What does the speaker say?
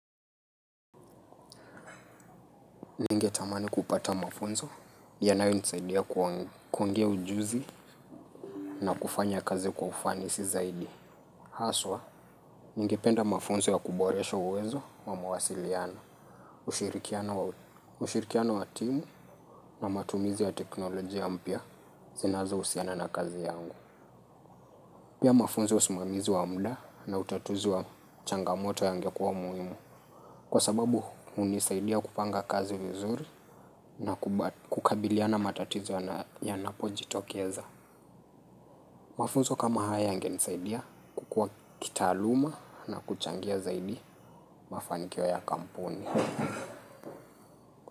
Ningetamani kupata mafunzo yanayonisaidia kwa kuongea ujuzi na kufanya kazi kwa ufanisi zaidi. Haswa, ningependa mafunzo ya kuboresha uwezo wa mawasiliano, ushirikiano wa timu na matumizi ya teknolojia mpya zinazousiana na kazi yangu. Pia mafunzo ya usimamizi wa mda na utatuzi wa changamoto yangekuwa muhimu kwa sababu hunisaidia kupanga kazi vizuri na kukabiliana matatizo yanapojitokeza. Mafuzo kama haya yangeisaidia kukua kitaaluma na kuchangia zaidi mafanikio ya kampuni.